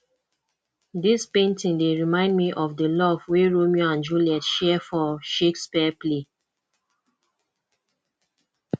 dis painting dey remind me of the love wey romeo and juliet share for shakespeare play